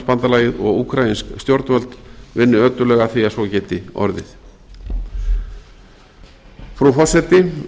atlantshafsbandalagið og úkraínsk stjórnvöld vinni ötullega að því að svo geti orðið frú forseti